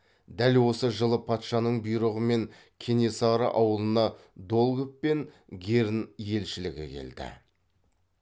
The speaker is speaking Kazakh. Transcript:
дәл осы жылы патшаның бұйрығымен кенесары ауылына долгов пен герн елшілігі келді